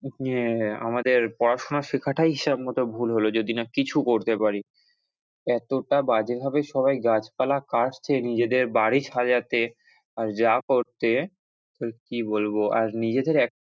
ইয়ে, আমাদের পড়াশুনা শেখাটাই হিসাব মতো ভুল হল যদি না কিছু করতে পারি, এতটা বাজে ভাবে সবাই গাছপালা কাটছে নিজেদের বাড়ি সাজাতে যা করছে কি বলবো আর নিজেদের,